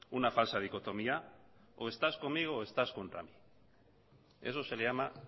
una falsa dicotomía o estás conmigo o estás contra mí eso se le llama